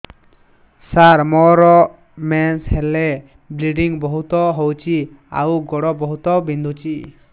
ସାର ମୋର ମେନ୍ସେସ ହେଲେ ବ୍ଲିଡ଼ିଙ୍ଗ ବହୁତ ହଉଚି ଆଉ ଗୋଡ ବହୁତ ବିନ୍ଧୁଚି